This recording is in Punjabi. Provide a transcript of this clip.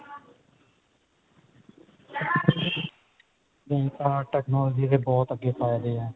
ਹੁਣ ਤਾਂ technology ਦੇ ਬਹੁਤ ਅੱਗੇ ਫਾਇਦੇ ਨੇ